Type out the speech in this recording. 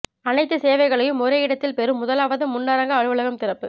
அனைத்து சேவைகளையும் ஒரே இடத்தில் பெறும் முதலாவது முன்னரங்க அலுவலகம் திறப்பு